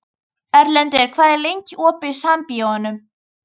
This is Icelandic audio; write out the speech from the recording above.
Erlendur, hvað er lengi opið í Sambíóunum?